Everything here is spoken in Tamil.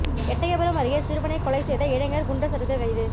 எட்டயபுரம் அருகே சிறுவனை கொலை செய்த இளைஞா் குண்டா் சட்டத்தில் கைது